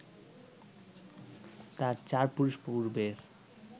তার চার পুরুষ পূর্বের